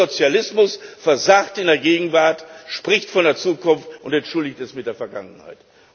Dieser Sozialismus versagt in der Gegenwart, spricht von Zukunft und entschuldigt es mit der Vergangenheit.